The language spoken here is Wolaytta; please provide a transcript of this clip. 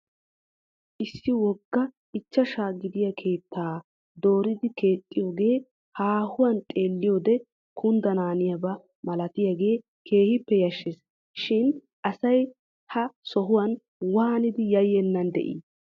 Issi wogga ichchashaa gidiya keettaa dooridi keexxoogee haahuwan xeelliyoode kundanaaniyaba malatiyagee keehippe yashshes shin asay ha sohuwan waanidi yayyennan de'i?